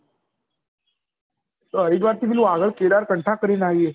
તો હરિદ્વાર થી કેટલું આગળ કેદારર્કંઠ કરી ને આયીયે